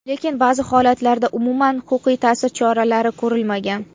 Lekin ba’zi holatlarda umuman huquqiy ta’sir choralari ko‘rilmagan.